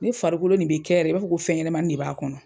Ne farikolo nin be kɛ yɛrɛ i b'a fɔ ko fɛn ɲɛnɛmanin de b'a kɔnɔ.